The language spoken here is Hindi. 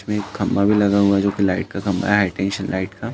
में एक खंभा भी लगा हुआ है जो कि लाईट का खंभा है। लाईट का।